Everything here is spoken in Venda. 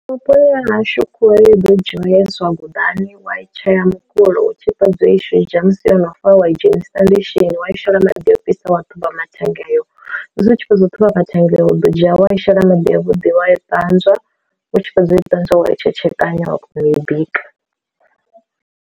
Vhuponi ha hashu khuhu ya ḓo dzhiwa ya iswa gudani wa i tsheya mukulo u tshi fhedza u i shidzha musi yono fa wa i dzhenisa ndishini wa i shela maḓi o fhisa wa ṱhuvha mathennga ayo, musi u tshi fhedza u ṱhuvha mathenga iwe u ḓo dzhia wa i shela maḓi avhuḓi wa i ṱanzwa u tshi fhedza u ṱanzwa wa i tshetshekanya wa kona u i bika.